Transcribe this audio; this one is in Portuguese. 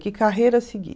Que carreira seguir?